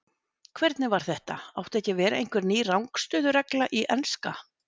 Hvernig var þetta átti ekki að vera einhver ný rangstöðu-regla í enska?